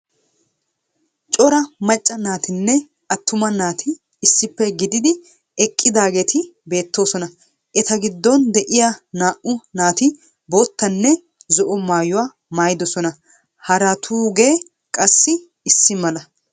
Cora macca naatinne attuma naati issippe gididi eqqidaageeti beettoosona. Eta giddon de'iyaa naa"u naati boottanne zo"o maayuwa maayiddosona. Haratugee qassi issi mala.